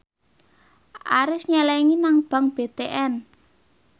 Arif nyelengi nang bank BTN